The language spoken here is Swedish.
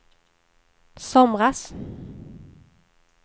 somras